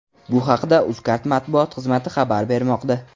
Bu haqda Uzcard matbuot xizmati xabar bermoqda .